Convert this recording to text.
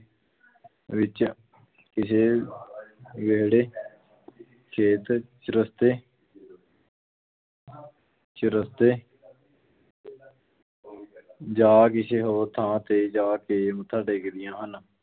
ਵਿੱਚ ਕਿਸੇ ਵਿਹੜੇ ਚੇਤ, ਚੁਰਸਤੇ ਚੁਰਸਤੇ ਜਾਂ ਕਿਸੇ ਹੋਰ ਥਾਂ ਤੇ ਜਾ ਕੇ ਮੱਥਾ ਟੇਕਦੀਆਂ ਹਨ।